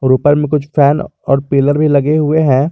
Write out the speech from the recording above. ऊपर में कुछ फैन और पिलर भी लगे हुए हैं।